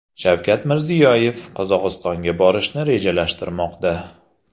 Shavkat Mirziyoyev Qozog‘istonga borishni rejalashtirmoqda.